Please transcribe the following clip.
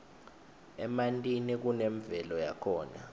emantini kunemvelo yakhona